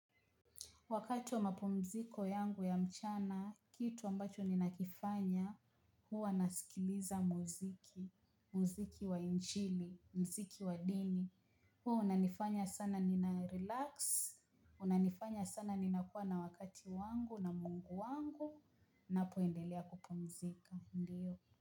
Wakati wa mapumziko yangu ya mchana, kitu ambacho ninakifanya huwa nasikiliza muziki, muziki wa injili, muziki wa dini. Huwa unanifanya sana nina relax, unanifanya sana ninakuwa na wakati wangu na mungu wangu, napoendelea kupumzika, ndiyo.